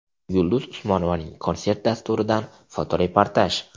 Yulduz Usmonovaning konsert dasturidan fotoreportaj.